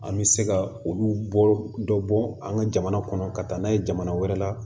An bɛ se ka olu bɔ dɔ bɔ an ka jamana kɔnɔ ka taa n'a ye jamana wɛrɛ la